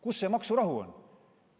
Kus see maksurahu on?